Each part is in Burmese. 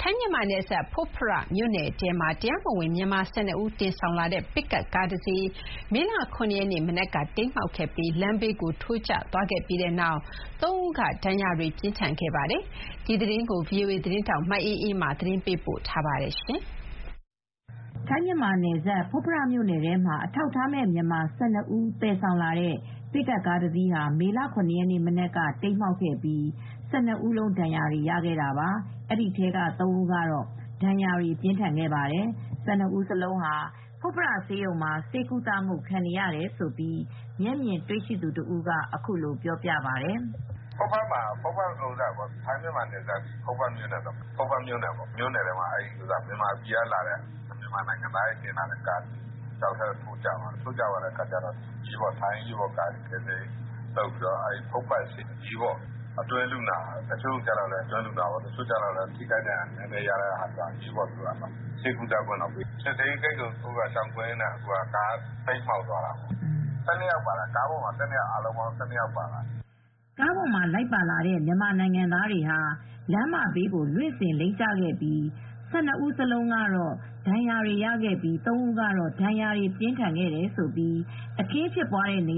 ထိုင်း-မြန်မာနယ်စပ် ဖွတ်ဖရမြို့နယ်ထဲမှာ အထောက်အထားမဲ့ဝင်လာတဲ့ မြန်မာ ၁၂ ဦးကို တင်ဆောင်လာတဲ့ ပစ်ကပ်ကားတစီးဟာ မေလ ၇ ရက်နေ့မနက်က တိမ်းမှောက်ပြီး လမ်းဘေးကိုထိုးကျသွားခဲ့ရာမှာ ၃ ဦးက ပြင်းထန်ဒဏ်ရာတွေရရှိခဲ့ကြပါတယ်။ ဒီသတင်းကို ဗွီအိုအေသတင်းထောက် မအေးအေးမာကသတင်းပေးပို့ထားပါတယ်။ ထိုင်း-မြန်မာနယ်စပ် ဖွတ်ဖရမြို့နယ်ထဲမှာ အထောက်အထားမဲ့ မြန်မာ ၁၂ ဦးကိုတင်လာတဲ့ ပစ်ကပ်ကားတစီးဟာ မေလ ၇ ရက်နေ့မနက်က တိမ်းမှောက်ခဲ့ပြီး ၁၂ ဦးလုံးဒဏ်ရာတွေ ရခဲ့တာပါ၊ ဒီထဲက ၃ ဦးကတော့ ပြင်းပြင်းထန်ထန် ဒဏ်ရာရသွားကြပါတယ်။ ၁၂ ဦး စလုံး ဖွတ်ဖရဆေးရုံမှာ ဆေးကုသခံနေရတယ်လို့ မျက်မြင်တွေ့ရှိသူတဦးက အခုလိုပြောပါတယ်။ "ထိုင်း-မြန်မာနယ်စပ် ဖွတ်ဖရမြို့နယ်ထဲမှာ မြန်မာနိုင်ငံသားတွေကို သယ်လာတဲ့ကားတစီး ချောက်ထဲထိုးကျသွားတယ်။ ထိုင်းအစိုးရဘက်က ကယ်ဆယ်ရေးတွေက ကယ်ထားပြီး ဖွတ်ဖရဆေးရုံမှာ အတွင်းလူနာတွေအဖြစ် ကုသနေကြတယ်။တချို့လည်း ဒဏ်ရာပြင်းတယ်။ သူတို့က စစ်ဆေးရေးဂိတ်တွေကို ရှောင်ကွင်းမောင်းနှင်ရင်းဖြစ်တာပါ။ ကားပေါ်က အားလုံး ၁၂ ယောက်ပါလာတယ်။" ကားပေါ်မှာလိုက်ပါလာတဲ့ မြန်မာနိုင်ငံသားတွေဟာ လမ်းမဘေးကို လွင့်စင်လိမ့်ကျခဲ့ကြပြီး ၁၂ ဦးစလုံး ဒဏ်ရာရခဲ့ကြတာပါ။ အဲဒီထဲမှာ သုံးဦးကတော့ ဒဏ်ရာပြင်းထန်တယ်လို့ အခင်းဖြစ်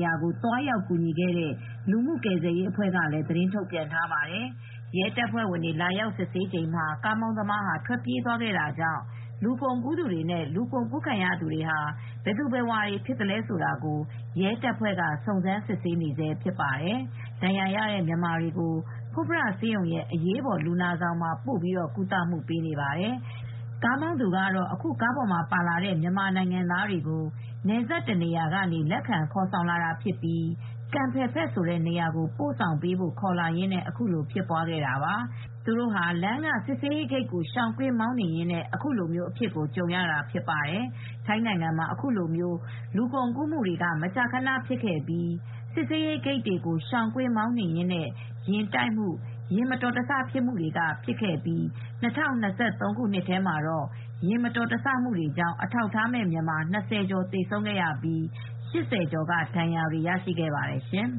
ရာကို သွားရောက်ကူညီခဲ့တဲ့ လူမှုကယ်ဆယ်ရေး အဖွဲ့ကလည်း သတင်းထုတ်ပြန်ထားပါတယ်။ ရဲတပ်ဖွဲ့၀င်တွေ လာရောက်စစ်ဆေးချိန်မှာ ကားမောင်းသမား ထွက်ပြေးသွားခဲ့တာကြောင့် လူကုန်ကူးသူတွေနဲ့ လူကုန်ကူးခံရသူတွေဟာ ဘယ်သူဘယ်ဝါတွေဖြစ်မလဲဆိုတာကို ရဲတပ်ဖွဲ့က စုံစမ်းစစ်ဆေးနေဆဲဖြစ်ပါတယ်။ ဒဏ်ရာရတဲ့မြန်မာတွေကို ဖွတ်ဖရဆေးရုံရဲ့အရေးပေါ် လူနာဆောင်မှာ ပို့ပြီးကုသပေးနေပါတယ်။ ကားမောင်းသူက အခု ကားပေါ်မှာပါလာတဲ့ မြန်မာနိုင်ငံသားတွေကို နယ်စပ်တနေရာကနေ လက်ခံခေါ်ဆောင်လာတာဖြစ်ပြီး ကန်ဖယ်ဖက်ဆိုတဲ့နေရာကို ပို့ဆောင်ပေးဖို့ ခေါ်လာရင်း အခုလိုဖြစ်တာပါ။ သူတို့ဟာ လမ်းကစစ်ဆေးရေးဂိတ်ကို ရှောင်ကွင်းမောင်းနှင်ရင်းနဲ့ အခုလိုအဖြစ်ကိုကြုံရတာဖြစ်ပါတယ်။ ထိုင်းနိုင်ငံမှာ အခုလို လူကုန်ကူးမှုတွေမကြာခဏဖြစ်ပြီး စစ်ဆေးရေးဂိတ်တွေကိုရှောင်ကွင်းမောင်းနှင်ရင်းနဲ့ ယာဉ်တိုက်မှု၊ ယာဉ်မတော်တဆဖြစ်မှုတွေဖြစ်လေ့ရှိပြီး ၂၀၂၃ ခုနှစ်ထဲမှာ ယာဉ်မတော်တဆမှုကြောင့် အထောက်အထားမဲ့ မြန်မာ ၂၀ ကျော်သေဆုံးခဲ့ပြီး ၈၀ ကျော်ကဒဏ်ရာတွေရရှိခဲ့ကြပါတယ်ရှင်။